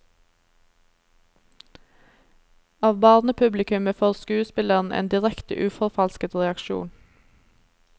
Av barnepublikummet får skuespilleren en direkte uforfalsket reaksjon.